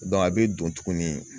a bɛ don tuguni